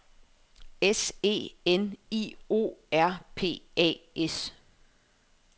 S E N I O R P A S